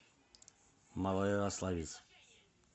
малоярославец